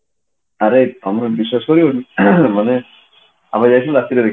ଆରେ ତମେ ବିଶ୍ବାସ କରିବନି ଆମେ ଯାଇଥିଲୁ ରାତିରେ ଦେଖି